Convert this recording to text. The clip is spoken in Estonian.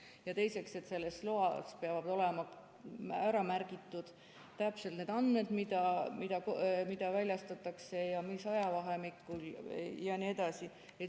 Ja teiseks, et selles loas peavad olema ära märgitud täpselt need andmed, mida väljastatakse, mis ajavahemikul jne.